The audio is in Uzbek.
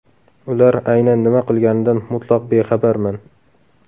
Ular aynan nima qilganidan mutlaq bexabarman.